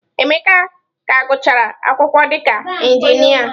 Emeka ka gụchara akwụkwọ dịka Injinia.